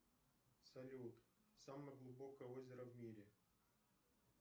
салют самое глубокое озеро в мире